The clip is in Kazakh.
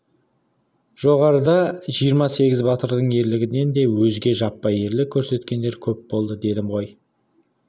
жоғарыда жиырма сегіз батырдың ерлігінен де өзге жаппай ерлік көрсеткендер көп болды дедім ғой